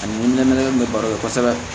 Ani nɛmɛnɛmɛ baro la kosɛbɛ